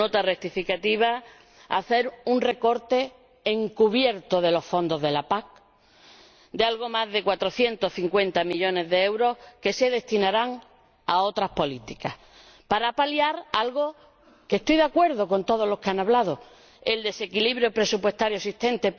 es un recorte encubierto de los fondos de la PAC de algo más de 450 millones de euros que se destinarán a otras políticas para paliar algo —en lo que estoy de acuerdo con todos los que han hablado—, que es el desequilibrio presupuestario existente.